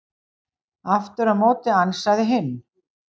Aftur á móti ansaði hinn: